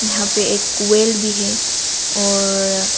यहां पर एक कोयल भी है और--